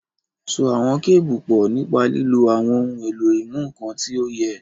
So àwọn kébù pọ̀ nípa lílo àwọn ohun èlò ìmúnǹkan tí ó yẹ.